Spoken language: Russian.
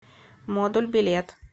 модуль билет